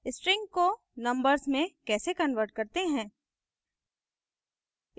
strings को numbers में कैसे convert करते हैं